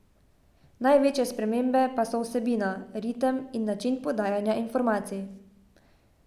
Največje spremembe pa so vsebina, ritem in način podajanja informacij.